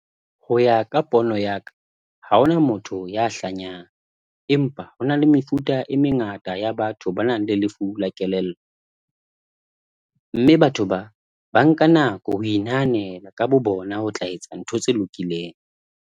Ho ya ka pono ya ka, ha hona motho ya hlanyang, empa hona le mefuta e mengata ya batho ba nang le lefu la kelello, mme batho ba ba nka nako ho inahanela ka bo bona ho tla etsa ntho tse lokileng.